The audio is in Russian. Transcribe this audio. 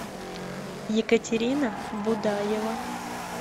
екатерина будаева